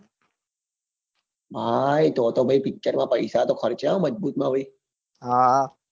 હા